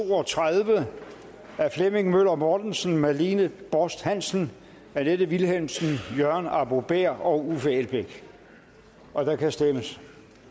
to og tredive af flemming møller mortensen marlene borst hansen annette vilhelmsen jørgen arbo bæhr og uffe elbæk og der kan stemmes